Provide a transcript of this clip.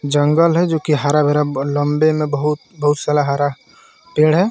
जंगल है जोकि हरा भरा ब-लम्बे में बहुत बहुत सारा हरा पेड़ है.